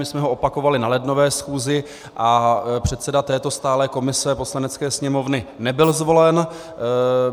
My jsme ho opakovali na lednové schůzi a předseda této stálé komise Poslanecké sněmovny nebyl zvolen.